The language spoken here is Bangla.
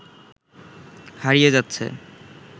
হারিয়ে যাচ্ছে